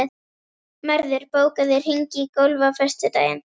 Mörður, bókaðu hring í golf á föstudaginn.